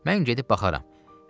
Dedi: Mən gedib baxaram.